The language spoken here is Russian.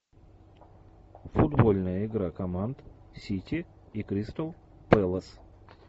футбольная игра команд сити и кристал пэлас